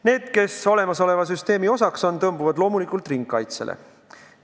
Need, kes olemasoleva süsteemi osaks on, tõmbuvad loomulikult ringkaitsesse.